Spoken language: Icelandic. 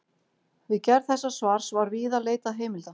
Við gerð þessa svars var víða leitað heimilda.